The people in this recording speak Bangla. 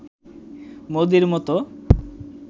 মোদির মতো